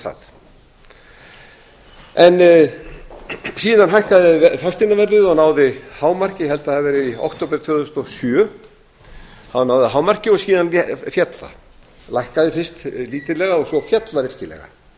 það en síðan hækkaði fasteignaverðið og náði hámarki ég held að það hafi verið í október tvö þúsund og sjö þá náði það hámarki og síðan féll það lækkaði fyrst lítillega og síðan féll það og svo féll það